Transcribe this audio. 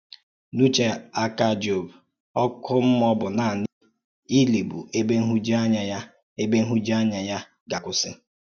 N’ùchè àká Jọb, “ọ́kụ́ mmúọ̀” bụ̀ nànị ìlì, bụ́ ẹ̀bè nhụ̀jùànyà ya ẹ̀bè nhụ̀jùànyà ya gà-akwùsì.